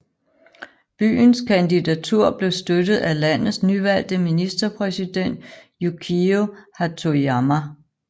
Byens kandidatur blev støttet af landets nyvalgte ministerpræsident Yukio Hatoyama